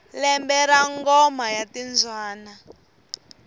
lembe ra ngoma ya timbyana